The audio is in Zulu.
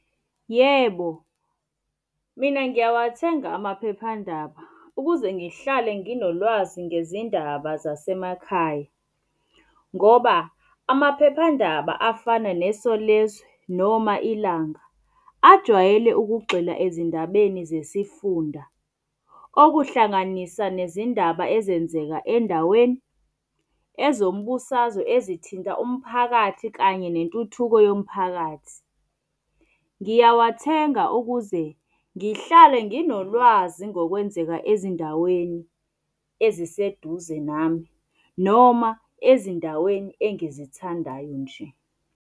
Yebo, mina ngiyawathenga amaphephandaba ukuze ngihlale nginolwazi ngezindaba zasemakhaya. Ngoba amaphephandaba afana neSolezwe noma Ilanga, ajwayele ukugxila ezindabeni zesifunda. Okuhlanganisa nezindaba ezenzeka endaweni, ezombusazwe, ezithinta umphakathi kanye nentuthuko yomphakathi. Ngiyawathenga ukuze ngihlale nginolwazi ngokwenzeka ezindaweni eziseduze nami noma ezindaweni engizithandayo nje.